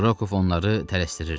Rokov onları tələsdirirdi.